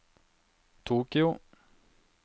Tokyo